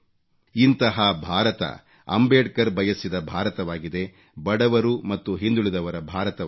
ಇಂತಹ ಭಾರತ ಅಂಬೇಡ್ಕರ್ ಬಯಸಿದ ಭಾರತವಾಗಿದೆ ಬಡವರು ಮತ್ತು ಹಿಂದುಳಿದವರ ಭಾರತವಾಗಿದೆ